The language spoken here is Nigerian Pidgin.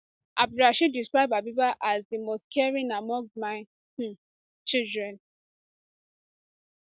abdulrasheed describe habeebah as as di most caring among my um children